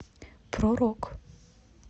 про рок